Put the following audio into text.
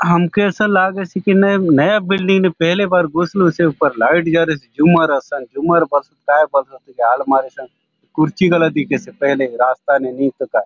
आमके असन लागेसे की नइ नया बिल्डिंग ने पहले बार घुसलु से ऊपर लाइट जलेसे झुमर असन झुमर बले ताय आय बले आलमारी सगे कुर्सी बले दिखेसे पहले रास्ता ने नितो काय --